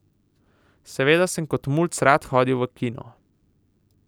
Seveda sem kot mulc rad hodil v kino.